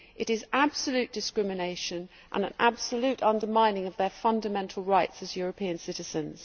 It is absolute discrimination and an absolute undermining of their fundamental rights as European citizens.